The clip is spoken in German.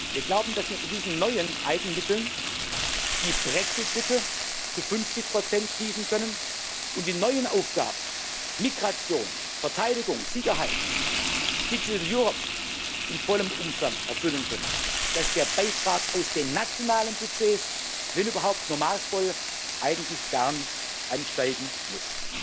Wir glauben, dass wir mit diesen neuen Eigenmitteln die Brexitlücke zu 50 schließen können und die neuen Aufgaben Migration, Verteidigung, Sicherheit, Digital Europe in vollem Umfang erfüllen können, dass der Beitrag aus den nationalen Budgets, wenn überhaupt, nur maßvoll, eigentlich gar nicht ansteigen muss.